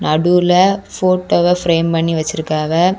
நடுவுல போட்டோவ ஃப்ரேம் பண்ணி வச்சிருக்காவ.